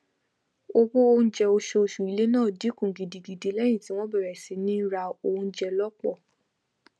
owó oúnjẹ oṣooṣù ilé náà dínkù gidigidi lẹyìn tí wọn bẹrẹ sí ní ra oúnjẹ lọpọ